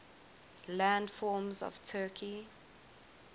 landforms of turkey